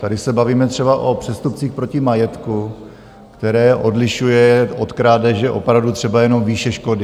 Tady se bavíme třeba o přestupcích proti majetku, které odlišuje od krádeže opravdu třeba jenom výše škody.